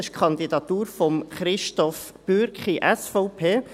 Es ist die Kandidatur von Christoph Bürki, SVP.